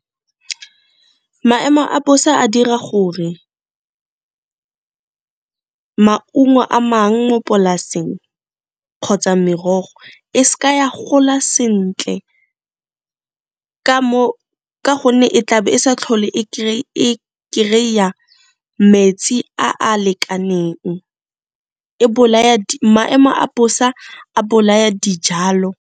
Maemo a bosa a dira gore maungo a mang mo polaseng kgotsa merogo e s'ka ya gola sentle ka gonne e tlabe e sa tlhole e kry-a metsi a a lekaneng, maemo a bosa a bolaya dijalo.